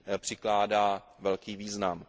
přikládá velký význam.